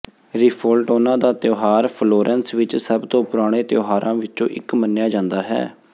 ਰਿਫੋਲਟੋਨਾ ਦਾ ਤਿਉਹਾਰ ਫਲੋਰੈਂਸ ਵਿਚ ਸਭ ਤੋਂ ਪੁਰਾਣੇ ਤਿਉਹਾਰਾਂ ਵਿੱਚੋਂ ਇਕ ਮੰਨਿਆ ਜਾਂਦਾ ਹੈ